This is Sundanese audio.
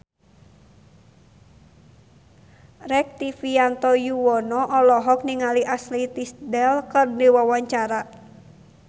Rektivianto Yoewono olohok ningali Ashley Tisdale keur diwawancara